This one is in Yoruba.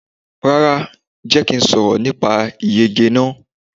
Rárá, Jẹ́ kí a sọ̀rọ̀ nípa ìyege náà.